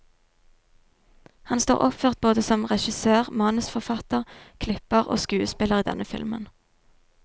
Han står oppført både som regissør, manusforfatter, klipper og skuespiller i denne filmen.